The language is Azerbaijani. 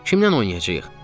Kimlə oynayacağıq?